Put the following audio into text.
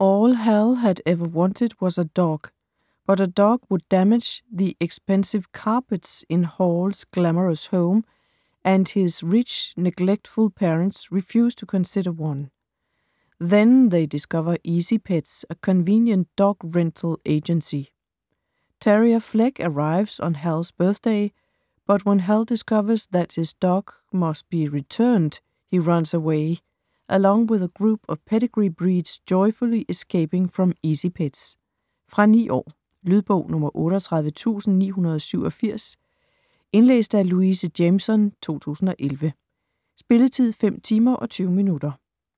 All Hal had ever wanted was a dog. But a dog would damage the expensive carpets in Hal's glamorous home, and his rich, neglectful parents refuse to consider one. Then they discover Easy Pets, a convenient dog-rental agency. Terrier Fleck arrives on Hal's birthday, but when Hal discovers that his dog must be returned, he runs away - along with a group of pedigree breeds joyfully escaping from Easy Pets. Fra 9 år. Lydbog 38987 Indlæst af Louise Jameson, 2011. Spilletid: 5 timer, 20 minutter.